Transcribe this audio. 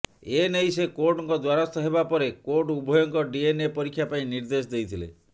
ଏ ନେଇ ସେ କୋର୍ଟଙ୍କ ଦ୍ବାରସ୍ଥ ହେବା ପରେ କୋର୍ଟ ଉଭୟଙ୍କ ଡିଏନଏ ପରୀକ୍ଷା ପାଇଁ ନିର୍ଦେଶ ଦେଇଥିଲେ